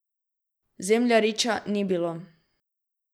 Zemljariča ni bilo.